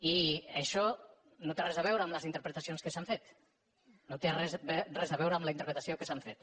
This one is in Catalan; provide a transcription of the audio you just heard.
i això no té res a veure amb les interpretacions que s’han fet no té res a veure amb les interpretacions que s’han fet